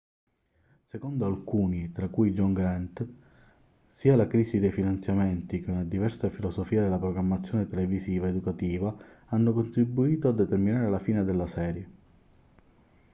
secondo alcuni tra cui john grant sia la crisi dei finanziamenti che una diversa filosofia della programmazione televisiva educativa hanno contribuito a determinare la fine della serie